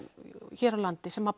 hér á landi sem